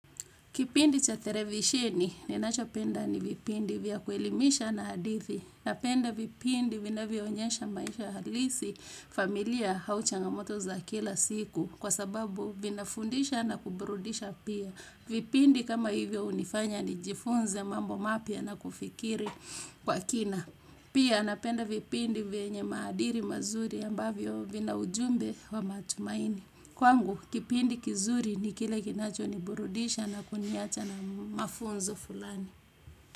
Kipindi cha televisheni, ninacho penda ni vipindi vya kuelimisha na hadithi. Napenda vipindi vinavyo onyesha maisha halisi familia au changamoto za kila siku kwa sababu, vinafundisha na kuburudisha pia. Vipindi kama hivyo hunifanya nijifunze mambo mapya na kufikiri kwa kina. Pia, napenda vipindi vyenye maadili mazuri ambavyo vina ujumbe wa matumaini. Kwangu kipindi kizuri ni kile kinacho ni burudisha na kuniacha na mafunzo fulani.